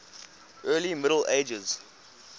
early middle ages